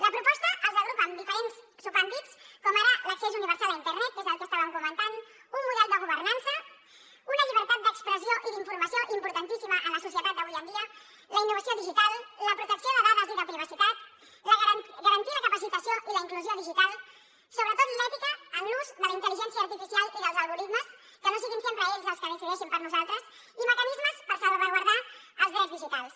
la proposta els agrupa en diferents subàmbits com ara l’accés universal a internet que és el que estàvem comentant un model de governança una llibertat d’expressió i d’informació importantíssima en la societat d’avui en dia la innovació digital la protecció de dades i de privacitat garantir la capacitació i la inclusió digital sobretot l’ètica en l’ús de la intel·ligència artificial i dels algoritmes que no siguin sempre ells els que decideixin per nosaltres i mecanismes per salvaguardar els drets digitals